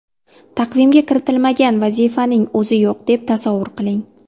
Taqvimga kiritilmagan vazifaning o‘zi yo‘q deb tasavvur qiling.